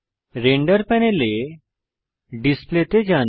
render প্যানেলে display তে যান